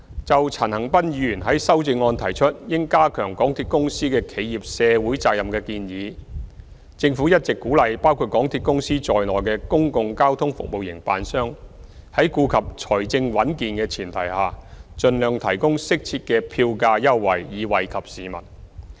就陳恒鑌議員在修正案中提出應加強港鐵公司的企業社會責任的建議，政府一直鼓勵包括港鐵公司在內的公共交通服務營辦商在顧及財政穩健的前提下，盡量提供適切的票價優惠，以惠及市民。